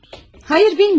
Xeyr, bilmirəm.